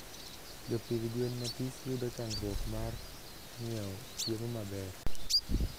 Jopidh gwen mathis yudo chandruok mar nyieo chiemo maber